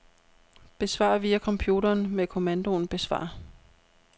Besvar via computeren med kommandoen besvar.